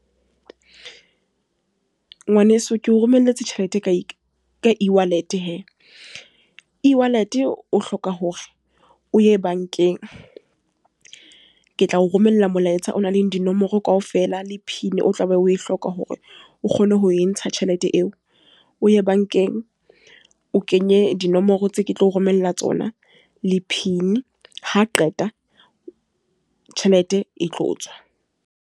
Ngwaneso ke o romelletse tjhelete ka e-wallet he. E-wallet o hloka hore o ye bankeng. Ke tla o romella molaetsa o nang le dinomoro kaofela, le pin o tlabe o e hloka hore o kgone ho e ntsha tjhelete eo. O ye bankeng o kenye dinomoro tse ke tlo romella tsona, le pin. Ha Qeta, tjhelete e tlo tswa.